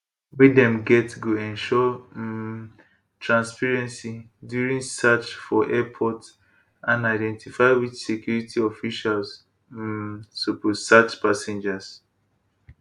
wey dem get go ensure um transparency during search for airport and identify which security officials um suppose search passengers